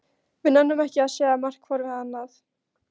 Við nennum ekki að segja margt hvor við annan.